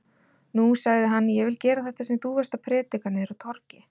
Nú, sagði hann, ég vil gera þetta sem þú varst að prédika niðri á torgi.